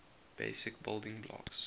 basic building blocks